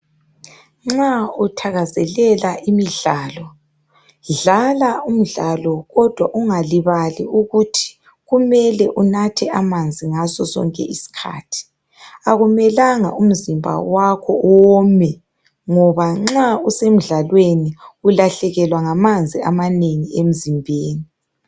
Nxa uthakazelela imidlalo dlala umdlalo kodwa ungalibali ukuthi kumele unathe amanzi ngaso sonke iskhathi. Akumelanga umzimba wakho uwome ngoba nxa usemdlalweni ulahlekelwa ngamanzi amanengi emzimbeni.